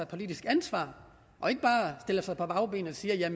politisk ansvar og ikke bare stiller sig på bagbenene og siger at